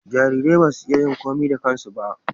jararai ba su iya yin komai da kansu